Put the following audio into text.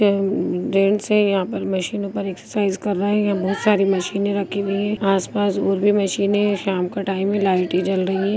ये-- जेन्ट्स है यहाँ पर मशीनों पर एक्सरसाइज कर रहे हैं। यहाँ बहुत सारी मशीने रखी हुई हैं। आस- पास और भी मशीने हैं। शाम का टाइम है लाइटे जल रही है।